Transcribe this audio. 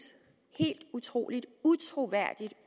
helt utroligt og utroværdigt